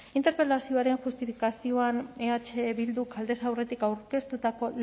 interpelazioaren justifikazioan eh bilduk aldez aurretik aurkeztutako